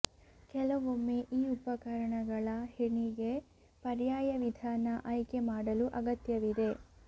ಕೆಲವೊಮ್ಮೆ ಈ ಉಪಕರಣಗಳ ಹೆಣಿಗೆ ಪರ್ಯಾಯ ವಿಧಾನ ಆಯ್ಕೆ ಮಾಡಲು ಅಗತ್ಯವಿದೆ